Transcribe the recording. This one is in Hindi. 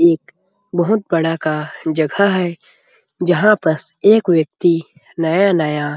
एक बहुत बड़ा का जगह है जहाँ पस एक व्यक्ति नया-नया--